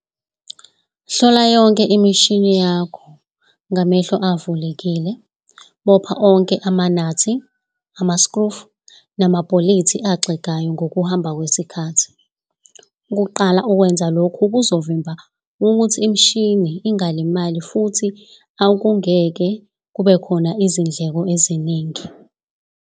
Hlola imishini yakho ngamehlo avulekile, bopha onke amanati, amaskrufu namabholithi axegayo ngokuhamba kwesikhathi. Ukuqala ukwenza lokhu kuzovimb ukuthi imishini ingalimali futhi akungeke kubekhona izindleko eziningi.